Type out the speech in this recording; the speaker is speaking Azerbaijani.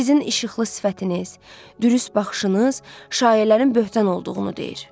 Sizin işıqlı sifətiniz, dürüst baxışınız şayiələrin böhtan olduğunu deyir.